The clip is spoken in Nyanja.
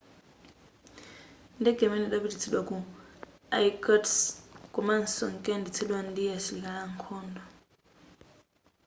ndege imeneyi idapititsidwa ku irkutsk komanso inkayendetsedwa ndi asilikali ankhondo